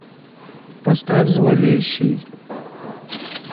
поставь зловещий